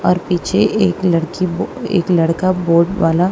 और पीछे एक लड़की को एक लड़का बोट वाला--